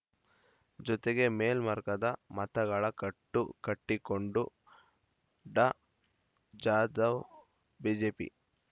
ಜೊತೆಗೆ ಮೇಲ್ಮರ್ಗದ ಮತಗಳ ಕಟ್ಟು ಕಟ್ಟಿಕೊಂಡು ಡಾ ಜಾಧವ ಬಿಜೆಪಿ